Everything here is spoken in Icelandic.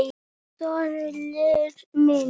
Sörli minn!